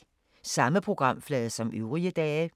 Samme programflade som øvrige dage